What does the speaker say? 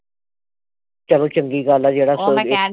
ਚੱਲੋ ਚੰਗੀ ਗੱਲ ਆ ਜਿਹੜਾ